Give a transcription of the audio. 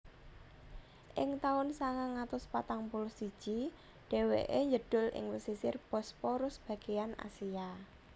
Ing taun sangang atus patang puluh siji dhèwèké njedhul ing pesisir Bosporus bagéyan Asia